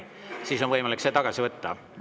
Siis on võimalik see tagasi võtta.